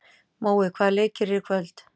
Mói, hvaða leikir eru í kvöld?